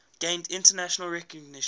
gained international recognition